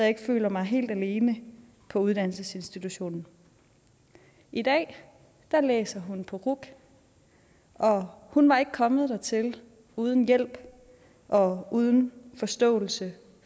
ikke føler mig helt alene på uddannelsesinstitutionen i dag læser hun på ruc og hun var ikke kommet dertil uden hjælp og uden forståelse